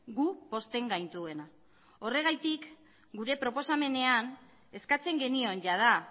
gu pozten gaituena horregatik gure proposamenean eskatzen genion jada